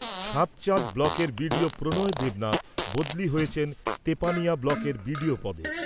সাতচাঁদ ব্লকের বিডিও প্রনয় দেবনাথ বদলি হয়েছেন তেপানিয়া ব্লকের বিডিও পদে।